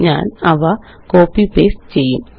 ഞാനവ copy paste ചെയ്യും